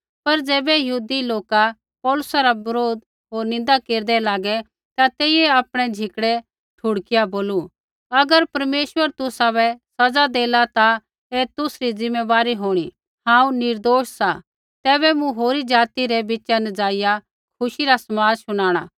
पर ज़ैबै यहूदी लोका पौलुसा रा बरोध होर निन्दा केरदै लागै ता तेइयै आपणै झिकड़ै ठुड़किआ बोलू अगर परमेश्वर तुसाबै सज़ा देला ता ऐ तुसरी ज़िमेदारी होणी हांऊँ निर्दोष सा ऐबै मूँ होरी ज़ाति रै बिच़ा न जाईया खुशी रा समाद शुनाणा